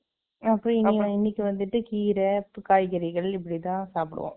அப்புறம், இன்னைக்கு வந்துட்டு, கீரை, காய்கறிகள், இப்படித்தான் சாப்பிடுவோம்